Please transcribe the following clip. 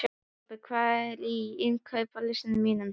Robert, hvað er á innkaupalistanum mínum?